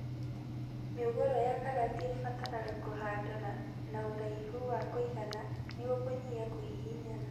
Mĩũngũrwa ya karati ĩbataraga kũhandwo na ũraihu wa kũigana nĩguo kũnyihia kũhihinyana